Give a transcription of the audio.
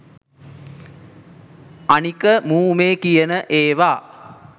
අනික මූ මේ කියන ඒවා